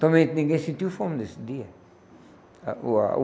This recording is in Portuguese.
Também ninguém sentiu fome nesse dia. A o a o